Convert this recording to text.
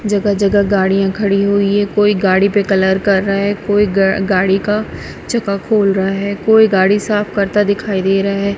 जगह जगह गाड़ियां खड़ी हुई है कोई गाड़ी पे कलर कर रहा है कोई ग गाड़ी का चक्का खोल रहा है कोई गाड़ी साफ करता दिखाई दे रहा है।